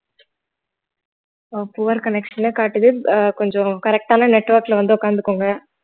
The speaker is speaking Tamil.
அஹ் poor connection னு காட்டுது அஹ் கொஞ்சம் correct ஆன network ல வந்து உட்கார்ந்துக்கோங்க